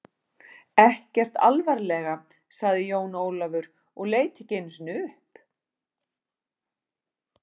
Ekkert alvarlega, sagði Jón Ólafur og leit ekki einu sinni upp.